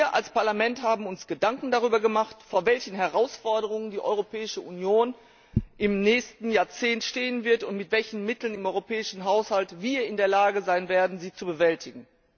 Wir als Parlament haben uns Gedanken darüber gemacht, vor welchen Herausforderungen die Europäische Union im nächsten Jahrzehnt stehen wird, und mit welchen Mitteln wir im europäischen Haushalt in der Lage sein werden, sie zu bewältigen.